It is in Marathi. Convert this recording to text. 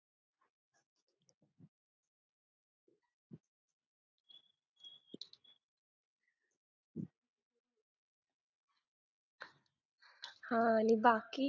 हा आणि बाकी